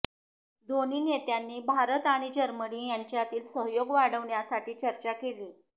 दोन्ही नेत्यांनी भारत आणि जर्मनी यांच्यातील सहयोग वाढवण्यासाठी चर्चा केली